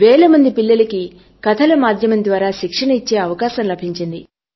అపుడు వేల మంది పిల్లలకు కథల మాధ్యమం ద్వారా శిక్షణ ఇచ్చే అవకాశం లభించించి